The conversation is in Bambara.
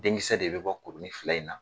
Denkisɛ de bɛ bɔ kuruni fila in na